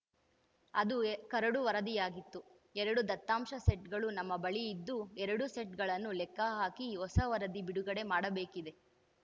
ಅದು ಕರಡು ವರದಿಯಾಗಿತ್ತು ಎರಡು ದತ್ತಾಂಶ ಸೆಟ್‌ಗಳು ನಮ್ಮ ಬಳಿ ಇದ್ದು ಎರಡೂ ಸೆಟ್‌ಗಳನ್ನು ಲೆಕ್ಕ ಹಾಕಿ ಹೊಸ ವರದಿ ಬಿಡುಗಡೆ ಮಾಡಬೇಕಿದೆ